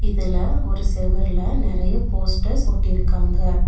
இதுல ஒரு செவுர்ல நெறைய போஸ்டர்ஸ் ஒட்டிருக்காங்க.